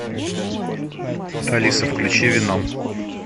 алиса включи веном